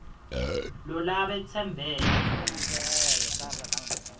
lo labe tsembele